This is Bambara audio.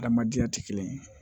Adamadenya tɛ kelen ye